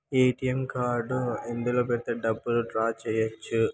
ATM card ఇందులో పెడితే డబ్బులు డ్రా చేయవచ్చు.